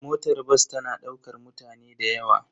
Motar bas tana daukar mutane da yawa.